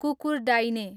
कुकुरडाइने